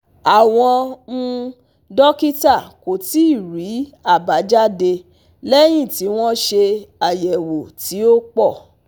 Àwọn um dókítà kò tíì rí àbájáde léyìn tí wọ́n ṣe ayewo tí ó pọ̀